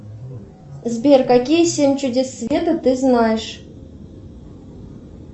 сбер какие семь чудес света ты знаешь